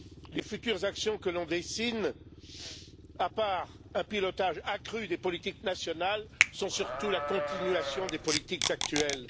Les futures actions que l'on dessine, à part un pilotage accru des politiques nationales, sont surtout la continuation des politiques actuelles.